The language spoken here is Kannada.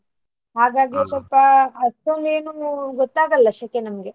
ಹಾಗಾಗಿ ಅಷ್ಟೊಂದು ಏನು ಗೊತ್ತಾಗಲ್ಲ ಶೆಕೆ ನಮ್ಗೆ.